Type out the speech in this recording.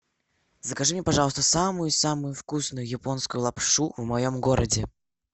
закажи мне пожалуйста самую самую вкусную японскую лапшу в моем городе